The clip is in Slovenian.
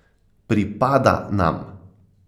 Pripada nam!